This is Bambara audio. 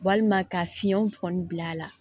Walima ka fiɲɛw bɔn a la